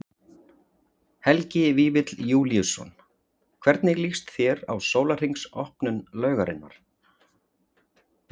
Helgi Vífill Júlíusson: Hvernig líst þér á sólarhrings opnun laugarinnar?